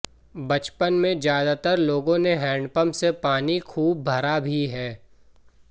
बचपन में ज्यादातर लोगों ने हैंडपंप से पानी खूब भरा भी है